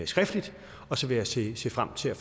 skriftligt og så vil jeg se se frem til at